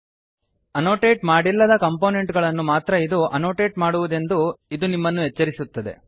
annotate ಮಾಡಿಲ್ಲದ ಕಂಪೊನೆಂಟ್ ಗಳನ್ನು ಮಾತ್ರ ಇದು ಆನೊಟೆಟ್ ಮಾಡುವುದೆಂದು ಇದು ನಿಮ್ಮನ್ನು ಎಚ್ಚರಿಸುತ್ತದೆ